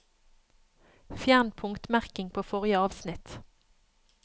Fjern punktmerking på forrige avsnitt